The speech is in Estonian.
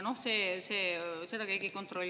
Seda keegi ei kontrolli.